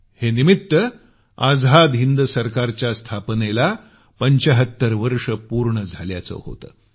हे निमित्त आझाद हिंद सरकारच्या स्थापनेला 75 वर्ष पूर्ण झाल्याचं होतं